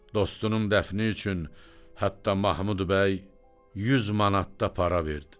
Dostunun dəfni üçün hətta Mahmud bəy 100 manat da pul verdi.